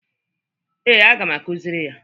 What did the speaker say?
Ee, aga m akụzịrị ya.